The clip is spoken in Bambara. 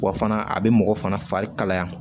Wa fana a bɛ mɔgɔ fana fari kalaya